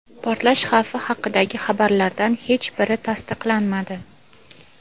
Portlash xavfi haqidagi xabarlardan hech biri tasdiqlanmadi.